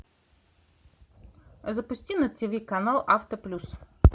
запусти на ти ви канал авто плюс